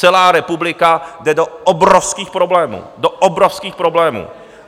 Celá republika jde do obrovských problémů, do obrovských problémů.